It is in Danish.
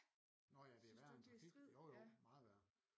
Nå ja det er værre end trafik jo jo meget værre